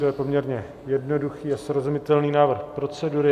To je poměrně jednoduchý a srozumitelný návrh procedury.